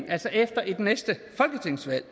altså efter næste folketingsvalg